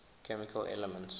chemical elements